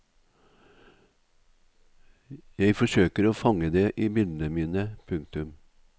Jeg forsøker å fange det i bildene mine. punktum